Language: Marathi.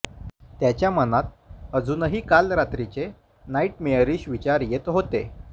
त्याच्या मनात अजुनही काल रात्रीचे नाइट्मेअरिश विचार येत होते